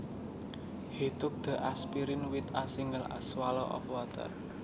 He took the aspirin with a single swallow of water